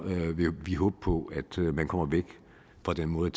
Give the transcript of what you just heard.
vil vi håbe på at man kommer væk fra den måde